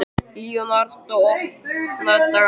Leonardó, opnaðu dagatalið mitt.